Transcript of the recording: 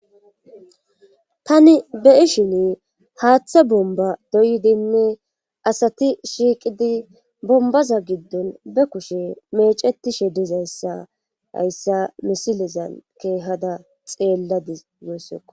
Tani be7i shini haaththe bomba doyidinne asati shiiqidi bombaza giddon be kushe meecetishe dizayssa hayssa misilezan keehada xeelladi yoyssekko.